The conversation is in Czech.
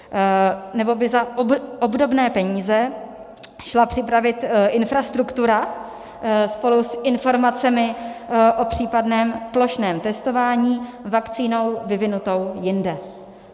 Nebo by za obdobné peníze šla připravit infrastruktura spolu s informacemi o případném plošném testování vakcínou vyvinutou jinde.